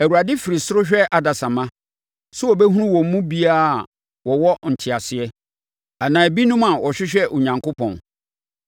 Awurade firi ɔsoro hwɛ adasamma sɛ ɔbɛhunu wɔn mu bi a wɔwɔ nteaseɛ, anaa ebinom a wɔhwehwɛ Onyankopɔn.